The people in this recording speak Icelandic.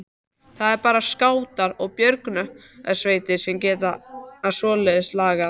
Það eru bara skátar og björgunarsveitir sem gera svoleiðis lagað